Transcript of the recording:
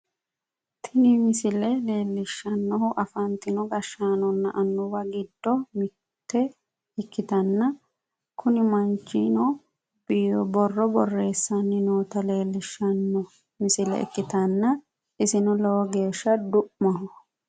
Tini misile leellishshannohu afantino gashshaanonna annuwa giddonni mitte ikkitanna, kuni manchino borro borreessanni noota leellishshanno misile ikkitanna, isino lowo geeshsha du'maho.